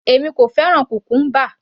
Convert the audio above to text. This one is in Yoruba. Èmi kò fẹ́ràn cucumber